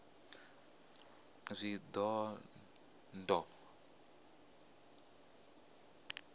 shidondho